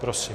Prosím.